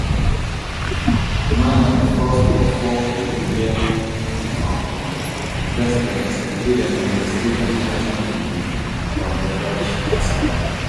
humala na di first of four peruvial um presidents wey dem go investigate in connection wit di odebrcht kasala